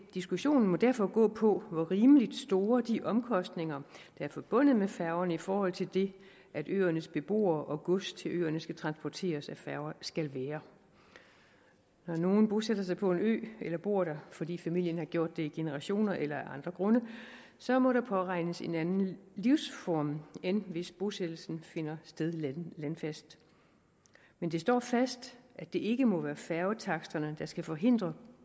diskussionen må derfor gå på hvor rimelig store de omkostninger der er forbundet med færgerne i forhold til det at øernes beboere og gods til øerne skal transporteres af færger skal være når nogen bosætter sig på en ø eller bor der fordi familien har gjort det i generationer eller af andre grunde så må der påregnes en anden livsform end hvis bosættelsen finder sted landfast men det står fast at det ikke må være færgetaksterne der skal forhindre